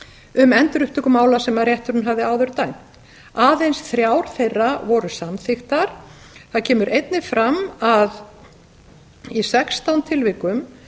um endurupptöku mála sem rétturinn hafði áður dæmt aðeins þrjár þeirra voru samþykktar það kemur einnig fram að í sextán tilvikum